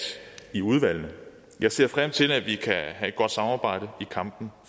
i udvalgene jeg ser frem til at vi kan have et godt samarbejde i kampen